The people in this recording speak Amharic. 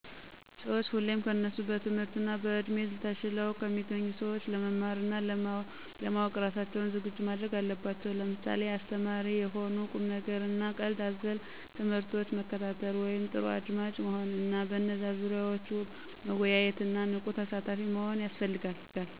ሰዎች ሁሌም ከነሱ በትምህርት እና በእድሜ ተሽለው ከሚገኙ ሰዎች ለመማር እና ለማዎቅ እራሳቸውን ዝግጁ ማድረግ አለባቸው። ለምሳሌ አስተማሪ የሆኑ ቁምነገር እና ቀልድ አዘል ትምህርቶች መከታተል (ጥሩ አድማጭ መሆን) እና በነዛ ዙሪያዎች መወያየት እና ንቁ ተሳታፊ መሆን ያስፈልጋል።